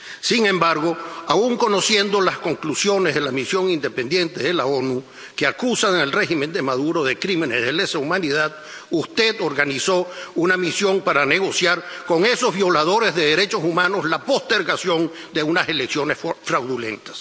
Sin embargo, aun conociendo las conclusiones de la misión independiente de las Naciones Unidas, que acusan al régimen de Maduro de crímenes de lesa humanidad, usted organizó una misión para negociar con esos violadores de derechos humanos la postergación de unas elecciones fraudulentas.